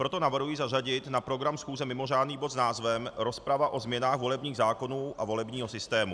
Proto navrhuji zařadit na program schůze mimořádný bod s názvem Rozprava o změnách volebních zákonů a volebního systému.